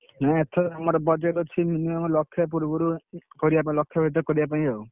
ନା ଏଥର ଆମର budget ଅଛି minimum ଲକ୍ଷେ ପୂର୍ବରୁ, କରିଆ ପାଇଁ ଲକ୍ଷେ ଭିତରେ କରିଆ ପାଇଁ ଆଉ।